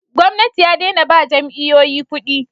gwamnati ya dena ba jami'oyi kudi